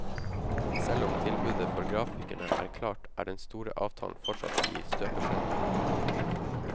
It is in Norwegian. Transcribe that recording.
Selv om tilbudet for grafikerne er klart, er den store avtalen fortsatt i støpeskjeen.